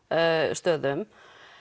stöðum